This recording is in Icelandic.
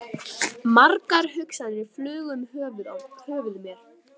Margar hugsanir flugu um höfuð mér.